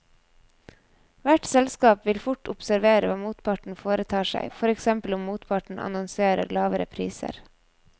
Hvert selskap vil fort observere hva motparten foretar seg, for eksempel om motparten annonserer lavere priser.